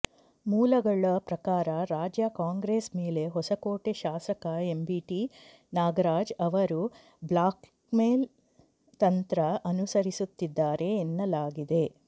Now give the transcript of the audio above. ಮೂಲಗಳ ಪ್ರಕಾರ ರಾಜ್ಯ ಕಾಂಗ್ರೆಸ್ ಮೇಲೆ ಹೊಸಕೋಟೆ ಶಾಸಕ ಎಂಟಿಬಿ ನಾಗರಾಜ್ ಅವರು ಬ್ಲಾಕ್ಮೇಲ್ ತಂತ್ರ ಅನುಸರಿಸುತ್ತಿದ್ದಾರೆ ಎನ್ನಲಾಗಿದೆ